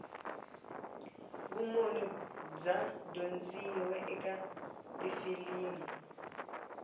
vumunhu bya dyondziwa eka tifilimu